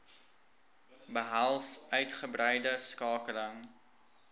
behels uitgebreide skakeling